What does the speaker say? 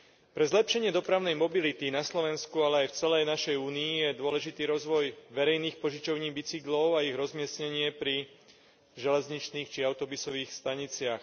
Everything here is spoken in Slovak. Pre zlepšenie dopravnej mobility na Slovensku, ale aj v celej našej únii, je dôležitý rozvoj verejných požičovní bicyklov a ich rozmiestnenie pri železničných či autobusových staniciach.